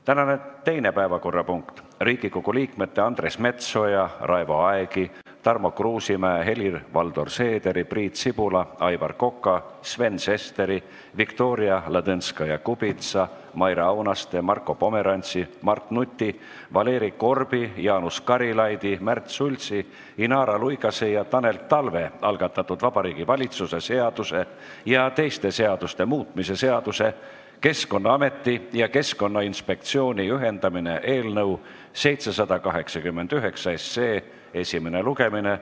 Tänane teine päevakorrapunkt on Riigikogu liikmete Andres Metsoja, Raivo Aegi, Tarmo Kruusimäe, Helir-Valdor Seederi, Priit Sibula, Aivar Koka, Sven Sesteri, Viktoria Ladõnskaja-Kubitsa, Maire Aunaste, Marko Pomerantsi, Mart Nuti, Valeri Korbi, Jaanus Karilaidi, Märt Sultsi, Inara Luigase ja Tanel Talve algatatud Vabariigi Valitsuse seaduse ja teiste seaduste muutmise seaduse eelnõu 789 esimene lugemine.